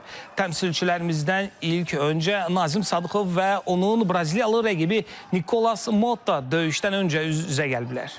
Təmsilçilərimizdən ilk öncə Nazim Sadıxov və onun braziliyalı rəqibi Nikolas Motta döyüşdən öncə üz-üzə gəliblər.